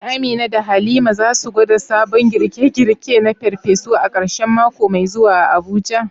Shin Amina da Halima za su gwada sabon girke-girke na farfesu a karshen mako mai zuwa a Abuja?